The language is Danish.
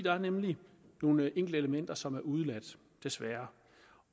er nemlig nogle enkelte elementer som er udeladt desværre